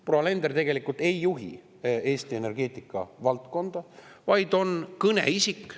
Proua Alender tegelikult ei juhi Eesti energeetikavaldkonda, vaid on kõneisik.